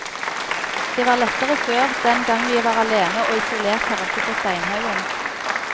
Det var lettere før, den gang vi var alene og isolert her oppe på steinhaugen.